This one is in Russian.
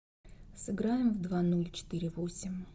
сыграем в два ноль четыре восемь